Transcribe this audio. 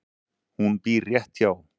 Hún býr rétt hjá.